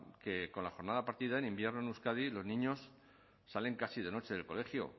que con la jornada partida en invierno en euskadi los niños salen casi de noche del colegio